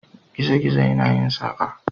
Gizo-gizo yana yin saƙa.